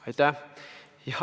Aitäh!